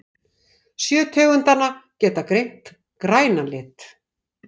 Sjö tegundanna geta greint grænan lit